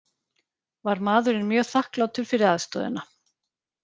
Var maðurinn mjög þakklátur fyrir aðstoðina